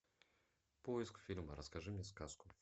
поиск фильма расскажи мне сказку